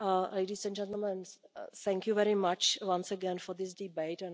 Ladies and gentlemen, thank you very much once again for this debate.